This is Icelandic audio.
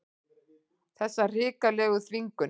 Þessa hrikalegu þvingun.